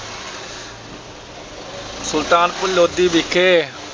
ਸੁਲਤਾਨਪੁਰ ਲੋਧੀ ਵਿਖੇ,